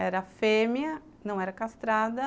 Era fêmea, não era castrada.